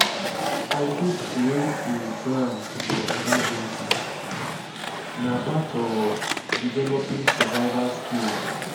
i fit create a plan for emergencies; na part of developing survival skills.